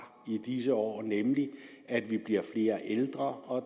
i disse år nemlig at vi bliver flere ældre og at